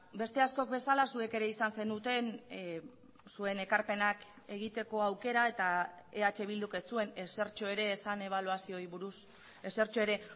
beste askok bezala zuek ere izan zenuten zuen ekarpenak egiteko aukera eta eh bilduk ez zuen ezertxo ere esan ebaluazioei buruz ezertxo ere